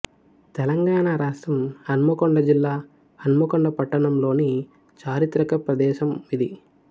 తెలంగాణ రాష్ట్రం హన్మకొండ జిల్లా హన్మకొండ పట్టణంలోని చారిత్రక ప్రదేశం ఇది